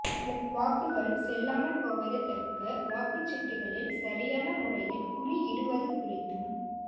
வாக்குகள் செல்லாமல் போவதைத் தடுக்க வாக்குச் சீட்டுக்களில் சரியான முறையில் குறியிடுவது குறித்தும்